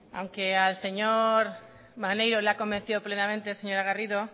aunque al señor maneiro le ha convencido plenamente la señora garrido